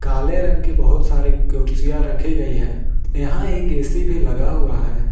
काले रंग की बहुत सारे कुर्सियां रखी गई है यहां एक ए_सी भी लगा हुआ है।